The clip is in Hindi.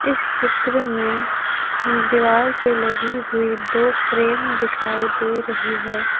इस चित्र में दीवाल पे लगी हुई दो फ्रेम दिखाई दे रही है।